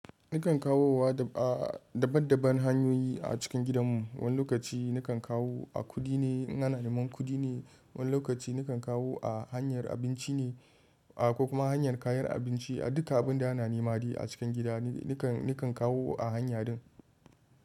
Nikan kawo wa a daban daban hanyoyi a cikin gidan mu, wani lokaci nikan kawo a kudi ne, in ana neman kudi ne, wani lokaci nikan kawo a hanyar abinci ne, a ko kuma hanyar kayan abinci, a duka abun da ana nemi a cikin gida nikan, nikan kawo a hanya din.